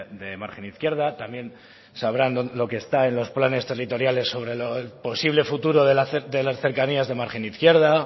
de margen izquierda también sabrá lo que está en los planes territoriales sobre los posibles futuros de las cercanías de margen izquierda